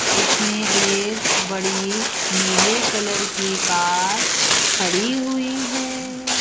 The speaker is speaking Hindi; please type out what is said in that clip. इसमें एक बड़ी नीले कलर कि कार खड़ी हुई है।